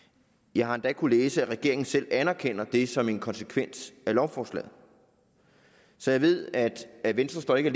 jeg har endda kunnet læse at regeringen selv anerkender det som en konsekvens af lovforslaget så jeg ved at venstre ikke